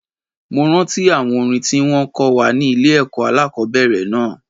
Mo rántí àwọn orin tí wón kọ́ wa ní ilé ẹ̀kọ́ alákòbẹ̀rẹ̀ náà.